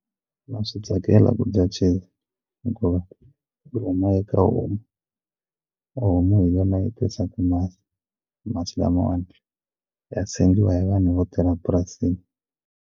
Na swi tsakela ku dya cheese hikuva yi huma eka homu homu hi yona yi tisaka masi masi lamawani ya sengiwa hi vanhu vo tirha purasini.